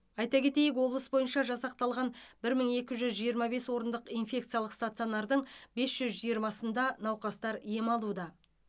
айта кетейік облыс бойынша жасақталған бір мың екі жүз жиырма бес орындық инфекциялық стационардың бес жүз жиырмасында науқастар ем алуда